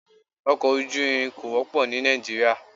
Ọkọ ojú irin kò wọ́pọ̀ ní Nàìjíríà.